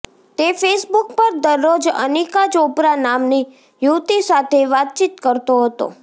તે ફેસબુક પર દરરોજ અનિકા ચોપરા નામની યુવતી સાથે વાતચીત કરતો હતો